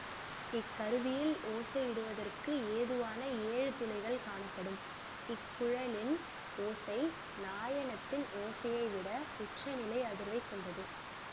இக்கருவியில் ஓசையிடுவதற்கு ஏதுவாக ஏழு துளைகள் காணப்படும் இக்குழலின் ஓசை நாயனத்தின் ஓசையைவிட உச்ச நிலை அதிர்வைக் கொண்டது